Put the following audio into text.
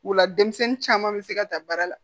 O la denmisɛnnin caman bɛ se ka ta baara la